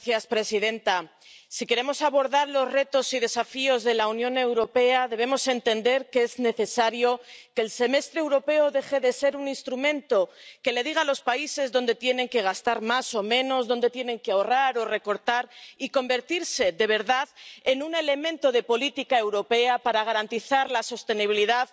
Señora presidenta, si queremos abordar los retos y desafíos de la Unión Europea debemos entender que es necesario que el Semestre Europeo deje de ser un instrumento que le diga a los países dónde tienen que gastar más o menos, dónde tienen que ahorrar o recortar y convertirse de verdad en un elemento de política europea para garantizar la sostenibilidad